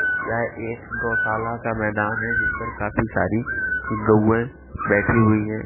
यहाँ एक गौशाला का मैदान है जिस पर काफी सारी गौए बैठी हुई है।